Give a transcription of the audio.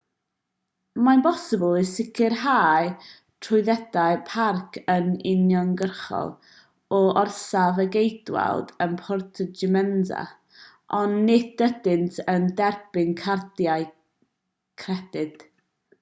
mae'n bosibl i sicrhau trwyddedau parc yn uniongyrchol o orsaf y ceidwaid yn puerto jiménez ond nid ydynt yn derbyn cardiau credyd